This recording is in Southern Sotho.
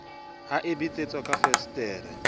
ha e betsetswa ka fensetere